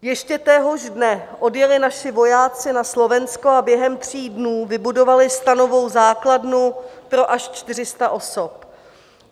Ještě téhož dne odjeli naši vojáci na Slovensko a během tří dnů vybudovali stanovou základnu pro až 400 osob.